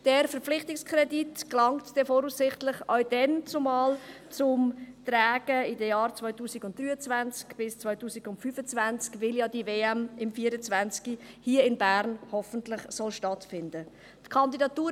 Dieser Verpflichtungskredit gelangt voraussichtlich in den Jahren 2023 bis 2025 zum Tragen, weil diese WM hier in Bern 2024 ja hoffentlich stattfinden wird.